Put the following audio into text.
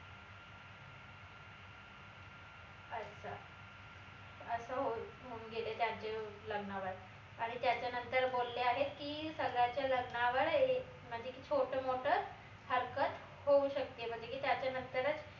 अच्छा अस होऊन होऊन गेले त्यांचे लग्न आणि त्याच्या नंतर बोलले आहेत की सगळ्याच्या लग्नावर म्हनजे की छोट मोट हरकत होऊ शकते म्हनजे की त्याच्या नंतरच